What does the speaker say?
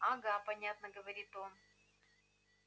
ага понятно говорит он